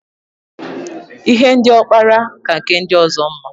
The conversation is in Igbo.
Ihe ndị ọ kpara ka nke ndi ọzọ mma.